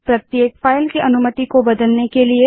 c160 प्रत्येक file की अनुमति को बदलने के लिए